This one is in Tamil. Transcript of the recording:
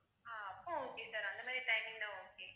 ஆஹ் அப்ப okay sir அந்த மாதிரி timing ன்னா okay